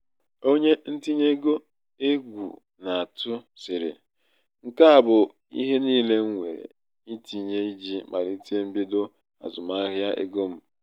onye ntinye ego egwú na-atụ sịrị "nke a bụ ihe niile m nwere itinye iji malite mbido azụmahịa ego m".